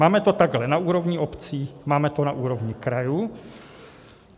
Máme to takhle na úrovni obcí, máme to na úrovni krajů.